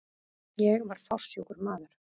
Ég var fársjúkur maður.